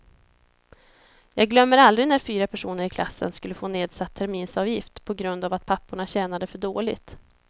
Jag glömmer aldrig när fyra personer i klassen skulle få nedsatt terminsavgift på grund av att papporna tjänade för dåligt.